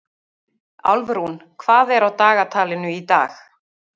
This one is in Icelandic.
Álfrún, hvað er á dagatalinu í dag?